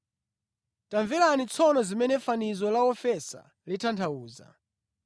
“Tamverani tsono zimene fanizo la wofesa litanthauza: